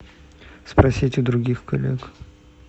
спросить у других коллег